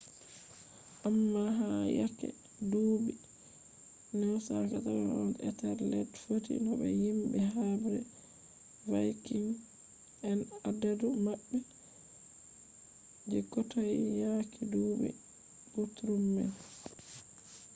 amma ha yake duuɓi 991 etelred fotti no be himɓe habre vaikins en adadu maɓɓe je kotoi yake duuɓi gutrum man